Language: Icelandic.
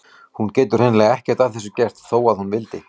Hún getur hreinlega ekkert að þessu gert þó að hún vildi.